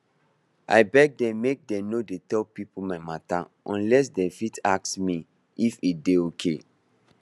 i beg dem make dem no dey tell people my matter unless dem first ask me if e dey okay